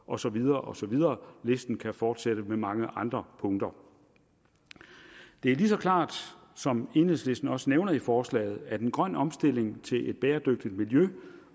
og så videre og så videre listen kan fortsætte med mange andre punkter det er lige så klart som enhedslisten også nævner i forslaget at en grøn omstilling til bæredygtigt miljø